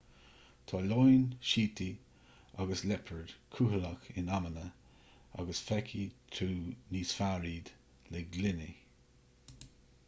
tá leoin síotaí agus liopaird cúthaileach in amanna agus feicfidh tú níos fearr iad le gloiní